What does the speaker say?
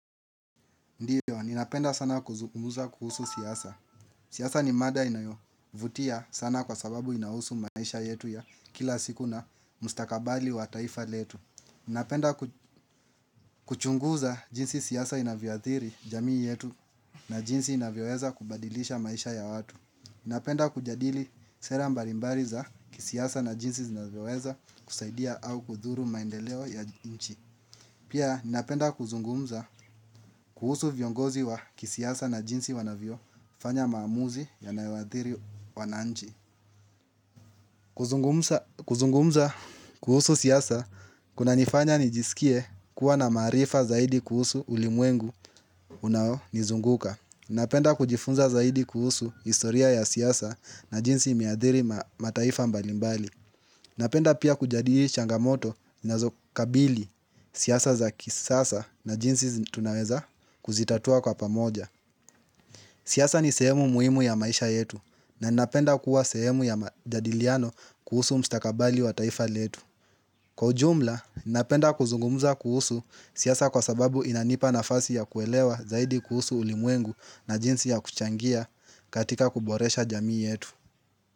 Ndiyo, ninapenda sana kuzungumuza kuhusu siasa. Siasa ni mada inayovutia sana kwa sababu inahusu maisha yetu ya kila siku na mustakabali wa taifa letu. Ninapenda kuchunguza jinsi siasa inavyoathiri jamii yetu na jinsi inavyoweza kubadilisha maisha ya watu. Ninapenda kujadili sera mbalimbali za kisiasa na jinsi zinavyoweza kusaidia au kudhuru maendeleo ya nchi. Pia ninapenda kuzungumza kuhusu viongozi wa kisiasa na jinsi wanavyo fanya maamuzi yanayowaadhiri wananchi kuzungumza kuhusu siasa kunanifanya nijisikie kuwa na maarifa zaidi kuhusu ulimwengu unaonizunguka Ninapenda kujifunza zaidi kuhusu historia ya siasa na jinsi imeadhiri mataifa mbalimbali Napenda pia kujadili changamoto nazokabili siasa za kisasa na jinsi tunaweza kuzitatua kwa pamoja. Siasa ni sehemu muhimu ya maisha yetu na napenda kuwa sehemu ya majadiliano kuhusu mustakabali wa taifa letu. Kwa ujumla, napenda kuzungumuza kuhusu siasa kwa sababu inanipa nafasi ya kuelewa zaidi kuhusu ulimwengu na jinsi ya kuchangia katika kuboresha jamii yetu.